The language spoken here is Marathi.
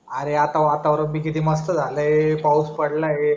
अरे आता वातावरण ते किती मस्त झालाय पाऊस पडलाय